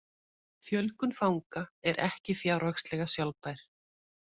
Fjölgun fanga er ekki fjárhagslega sjálfbær